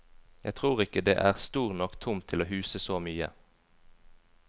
Jeg tror ikke det er stor nok tomt til å huse så mye.